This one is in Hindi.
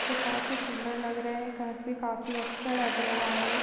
जो काफी सुंदर लग रहे है घर भी काफी अच्छा लग रहा है।